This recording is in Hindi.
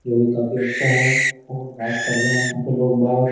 जो कि काफी अच्छा है और बात कर रहे हैं यहा पे लोग --